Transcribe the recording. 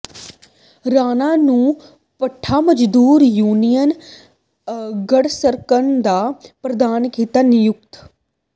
ਰਾਣਾ ਨੂੰ ਭੱਠਾ ਮਜ਼ਦੂਰ ਯੂਨੀਅਨ ਗੜ੍ਹਸ਼ੰਕਰ ਦਾ ਪ੍ਰਧਾਨ ਕੀਤਾ ਨਿਯੁਕਤ